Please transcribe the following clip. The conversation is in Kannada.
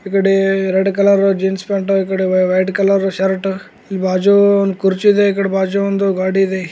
ಈಕಡೆ ರೆಡ ಕಲರ್ ಜೀನ್ಸ್ ಪ್ಯಾಂಟು ಈ ಕಡೆ ವೈಟ ಕಲರ್ ಶರ್ಟ್ ಈ ಬಾಜು ಒಂದು ಕುರ್ಚಿ ಇದೆ ಈ ಕಡೆ ಬಾಜು ಒಂದು ಗಾಡಿ ಇದೆ.